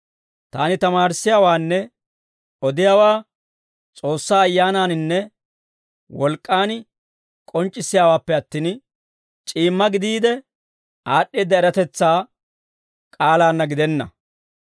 Taani tamaarissiyaawaanne odiyaawaa S'oossaa Ayyaanaaninne wolk'k'aan k'onc'c'issayppe attin, c'iimma gidiide aad'd'eedda eratetsaa k'aalaanna gidenna.